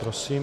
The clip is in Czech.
Prosím.